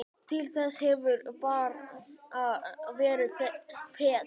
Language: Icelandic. Til þessa hefurðu bara verið peð.